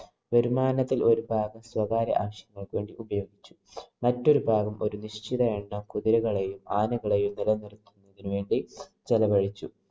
വരുമാനത്തില്‍ ഒരു ഭാഗം സ്വകാര്യ ആവശ്യങ്ങള്‍ക്ക് വേണ്ടി ഉപയോഗിച്ചു. മറ്റൊരു ഭാഗം ഒരു നിശ്ചിത എണ്ണം കുതിരകളെയും, ആനകളെയും നിലനിര്‍ത്തുന്നതിന് വേണ്ടി ചെലവഴിച്ചു.